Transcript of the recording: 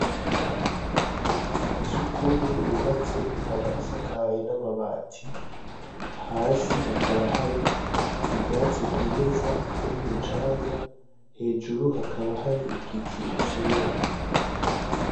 Inzu ya sugumwe yubatse ikaba isakaye n'amabati, hasi hakaba hari ubwatsi bwimeza be n'umucanga, hejuru hakaba hari igicu cera.